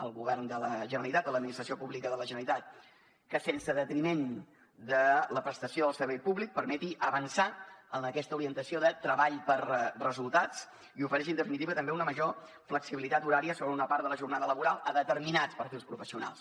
el govern de la generalitat l’administració pública de la generalitat que sense detriment de la prestació del servei públic permeti avançar en aquesta orientació de treball per resultats i ofereixi en definitiva també una major flexibilitat horària sobre una part de la jornada laboral a determinats perfils professionals